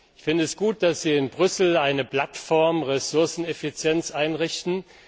Ich finde es gut, dass Sie in Brüssel eine Plattform Ressourceneffizienz einrichten.